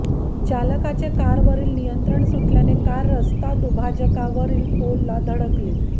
चालकाचे कारवरील नियंत्रण सुटल्याने कार रस्ता दुभाजकावरील पोलला धडकली